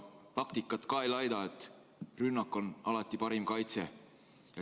Taktikat ka ei laida, rünnak on alati parim kaitse.